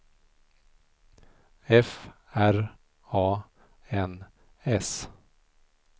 F R A N S